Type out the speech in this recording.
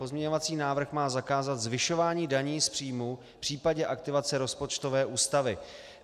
Pozměňovací návrh má zakázat zvyšování daní z příjmů v případě aktivace rozpočtové ústavy.